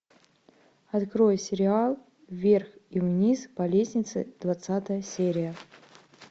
открой сериал вверх и вниз по лестнице двадцатая серия